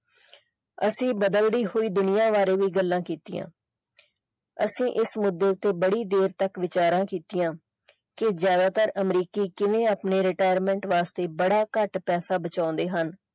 ਅਸੀਂ ਬਦਲਦੀ ਹੋਈ ਦੁਨੀਆ ਬਾਰੇ ਵੀ ਗੱਲਾਂ ਕੀਤੀਆਂ ਅਸੀਂ ਇਸ ਮੁੱਦੇ ਤੇ ਬੜੀ ਦੇਰ ਤੱਕ ਵਿਚਾਰਾਂ ਕੀਤੀਆਂ ਕਿ ਜ਼ਿਆਦਾ ਤਰ ਅਮਰੀਕੀ ਕਿਵੇਂ ਆਪਣੇ retirement ਵਾਸਤੇ ਬੜਾ ਘੱਟ ਪੈਸਾ ਬਚਾਉਂਦੇ ਹਨ।